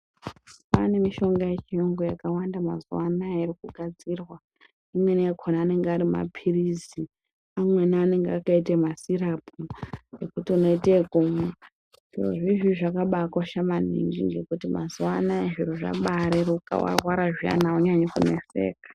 Kwaane mishonga yechiyungu yakawanda mazuwa anaya irikugadzirwa. Imweni yakona anenge ari mapirizi, amweni anenge akaite masirapu ekuti unoita ekumwa. Zvirozvi izvizvizvi zvakaba kosha maningi ngekuti mazuwa anaya zviro zvabareruka , warwara aunyanyi kuneseka.